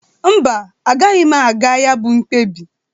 Mba, agaghị m aga ya bụ mkpebi.